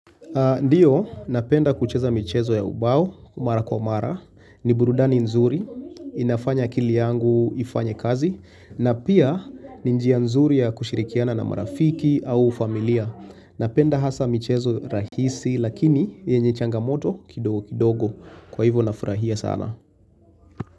Ndiyo, napenda kucheza michezo ya ubao, umara kwa umara, ni burudani nzuri, inafanya kili yangu ifanye kazi, na pia ninjia nzuri ya kushirikiana na marafiki au familia. Napenda hasa michezo rahisi, lakini yenye changamoto kidogo, kwa hivyo nafrahia sana.